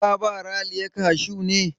Ka ba Raliya kashu ne?